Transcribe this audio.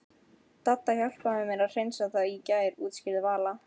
Dadda hjálpaði mér að hreinsa það í gær útskýrði Vala.